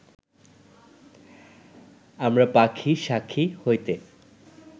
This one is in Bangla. আমরা পাখী শাখী হইতে